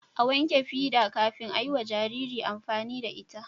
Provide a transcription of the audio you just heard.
a wanke fida kafin ayiwa Jariri amfani da ita